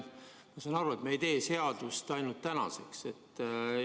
Ma saan aru, et me ei tee seadust ainult tänaseks.